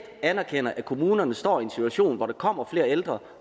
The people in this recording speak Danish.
anerkender at kommunerne står i en situation hvor der kommer flere ældre